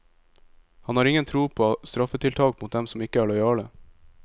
Han har ingen tro på straffetiltak mot dem som ikke er lojale.